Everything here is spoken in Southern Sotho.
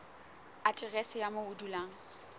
aterese ya moo o dulang